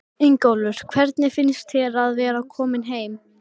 Ingólfur: Hvernig finnst þér að vera kominn heim?